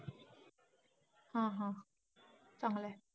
हा हा. चांगलंय.